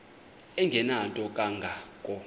engenanto kanga ko